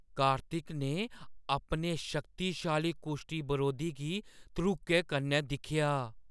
कार्तिक ने अपने शक्तिशाली कुश्ती बरोधी गी धड़ूके कन्नै दिक्खेआ।